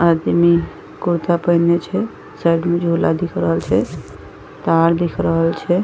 आदमी कुर्ता पहने छे साइड में झोला दिख रहल छे पहाड़ दिख रहल छे।